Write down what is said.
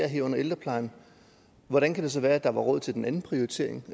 herunder ældreplejen hvordan kan det så være der var råd til den anden prioritering